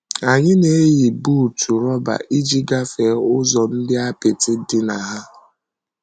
Anyị na - eyi buutu rọba iji gafee ụzọ ndị apịtị dị na ha.